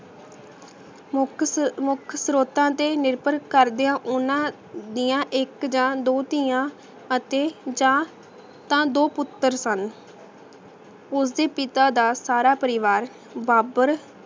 ਮੁਖ ਸਵ੍ਰੋਤਾਂ ਤੇ ਨਿਰਭਰ ਕਰਦੇ ਓਹਨਾਂ ਦੀਆ ਇਕ ਯਾ ਦੋ ਤਿਯਾਂ ਅਤੇ ਯਾ ਤਾਂ ਦੋ ਪੁਤਰ ਸਨ ਓਸਦੇ ਪਿਤਾ ਦਾ ਸਾਰਾ ਪਰਿਵਾਰ ਬਾਬਰ